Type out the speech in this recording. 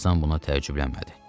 Tarzan buna təəccüblənmədi.